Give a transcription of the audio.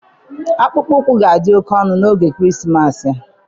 Akpụkpọ ụkwụ ga-adị oké ọnụ n'oge Krismas a